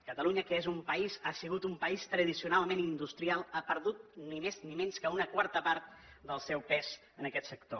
catalunya que és un país ha sigut un país tradicionalment industrial ha perdut ni més ni menys que una quarta part del seu pes en aquest sector